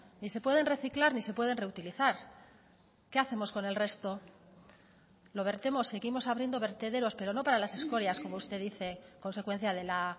ni se pueden reciclar ni se pueden reutilizar qué hacemos con el resto lo vertemos seguimos abriendo vertederos pero no para las escorias como usted dice consecuencia de la